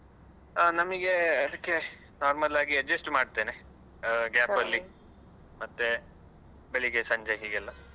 ಹಾ ನಮ್ಗೆ ಅದಕ್ಕೆ normal ಆಗಿ adjust ಮಾಡ್ತೇನೆ ಆ ಮತ್ತೆ ಬೆಳಿಗ್ಗೆ ಸಂಜೆ ಹೀಗೆಲ್ಲ.